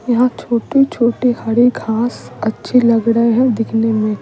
यहां छोटे-छोटे हरे घास अच्छे लग रहे हैं दिखने में।